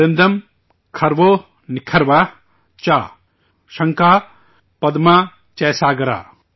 ورندم کھروو نکھروہ چ، شنکھہ پدمہ چ ساگرہ